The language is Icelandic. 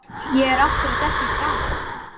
Ég er aftur að detta í trans.